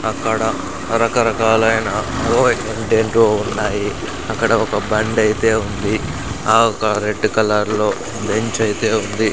అక్కడ రకరకాలైన ఒ ఏంటేంటివో ఉన్నాయి అక్కడ ఒక బండి ఐతే ఉంది ఆ ఒక రెడ్డు కలర్ లో బెంచ్ ఐతే ఉంది.